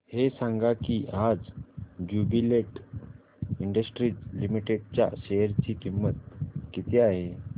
हे सांगा की आज ज्युबीलेंट इंडस्ट्रीज लिमिटेड च्या शेअर ची किंमत किती आहे